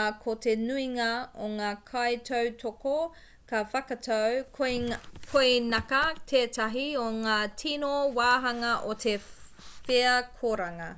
ā ko te nuinga o ngā kaitautoko ka whakatau koinaka tētahi o ngā tīno wāhanga o te wheakoranga